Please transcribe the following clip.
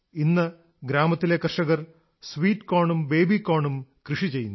ഇന്ന് ഗ്രാമത്തിലെ കർഷകർ സ്വീറ്റ് കോർൻ ഉം ബേബി കോർൻ ഉം കൃഷി ചെയ്യുന്നു